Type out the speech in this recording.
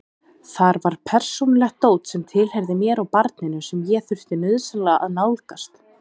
Þar var persónulegt dót sem tilheyrði mér og barninu sem ég þurfti nauðsynlega að nálgast.